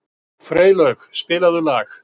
Freylaug, spilaðu lag.